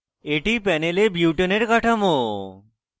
এটি panel butane butane এর কাঠামো